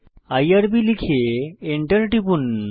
IRB লিখে enter টিপুন